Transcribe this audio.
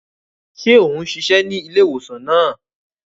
Ṣe o ni ṣiṣẹ ní ilé-ìwòsàn náà?